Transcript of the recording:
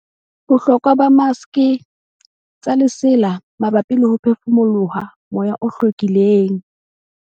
Bohlokwa ba maske tsa lesela mabapi le ho phefumoloho moya o hlwekileng